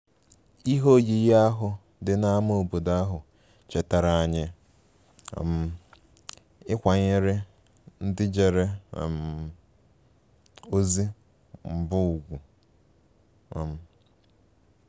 Ihe oyiyi ahụ dị n’ámá obodo ahụ chetaara anyị um ịkwanyere ndị jere um ozi mbụ ùgwù um